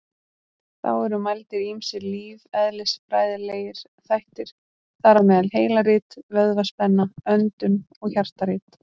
Þá eru mældir ýmsir lífeðlisfræðilegir þættir, þar á meðal heilarit, vöðvaspenna, öndun og hjartarit.